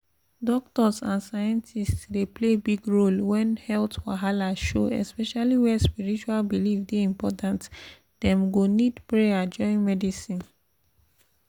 doctors and scientists dey play big role when health wahala show especially where spiritual belief dey important — dem go need prayer join medicine.